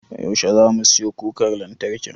Yaushe zamu siyo kukar lantarkin?